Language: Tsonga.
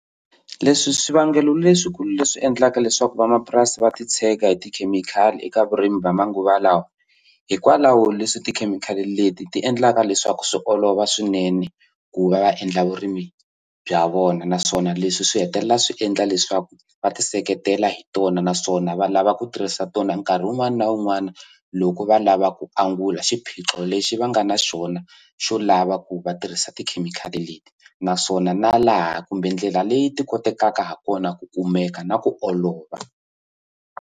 Leswi swivangelo leswikulu leswi endlaka leswaku vamapurasi va titshega hi tikhemikhali eka vurimi va manguva lawa hikwalaho leswi tikhemikhali leti ti endlaka leswaku swi olova swinene ku va va endla vurimi bya vona naswona leswi swi hetelela swi endla leswaku va ti seketela hi tona naswona va lava ku tirhisa tona nkarhi wun'wani na wun'wani loko va lava ku angula xiphiqo lexi va nga na xona xo lava ku va tirhisa tikhemikhali leti naswona na laha kumbe ndlela leyi ti kotekaka ha kona ku kumeka na ku olova.